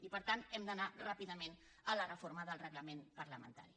i per tant hem d’anar ràpidament a la reforma del reglament parlamentari